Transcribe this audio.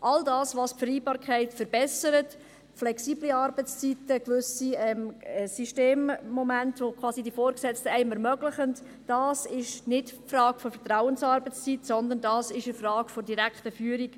All das, was die Vereinbarkeit verbessert – flexible Arbeitszeiten und gewisse Systemmomente die einem die Vorgesetzten ermöglichen –, ist keine Frage der Vertrauensarbeitszeit, sondern es ist durch die direkte Führung